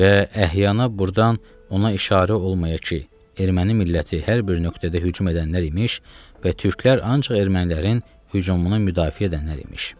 Və əhyana burdan ona işarə olmayaydı ki, erməni milləti hər bir nöqtədə hücum edənlər imiş və türklər ancaq ermənilərin hücumuna müdafiə edənlər imiş.